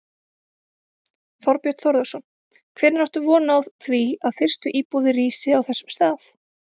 Þorbjörn Þórðarson: Hvenær áttu von á því að fyrstu íbúðir rísi á þessum stað?